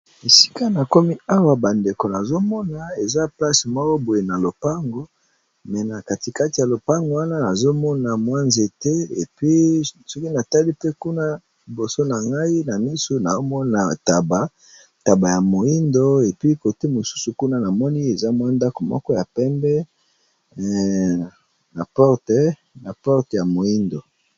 Esika na komi awa bandeko, nazomona eza place boye na lopango na katikati ya lopango wana nazomona nzete , soki na tali pe kuna. liboso na ngai na misu naomona ntaba ya moindo , mosusu kuna na moni eza ndako moko ya pembe na porte ya moindo.